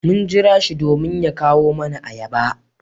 Mun jira shi domin ya kawo nama ayaba.